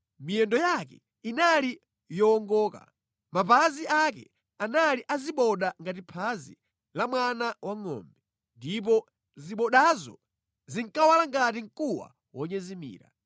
Miyendo yake inali yowongoka; mapazi ake anali a ziboda ngati phazi la mwana wangʼombe. Ndipo zibodazo zinkawala ngati mkuwa wonyezimira.